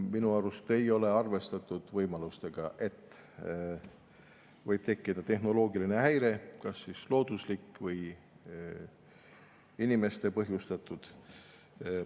Minu arust ei ole arvestatud võimalusega, et võib tekkida tehnoloogiline häire, kas siis looduslik või inimeste põhjustatud.